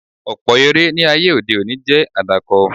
Ọ̀pọ̀ eré ní ayé òde òní jẹ́ àdàkọ.